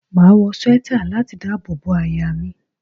Máa wọ swẹ́tà láti dábò bo àyà mi.